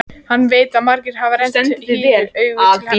Hann veit að margir hafa rennt hýru auga til hennar.